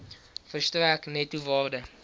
verstrek netto waarde